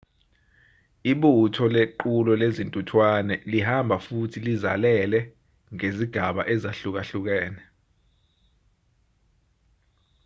ibutho lequlo lezintuthwane lihamba futhi lizalele ngezigaba ezahlukahlukene